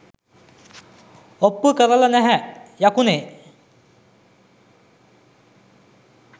ඔප්පු කරල නැහැ යකුනේ.